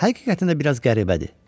Həqiqətən də biraz qəribədir.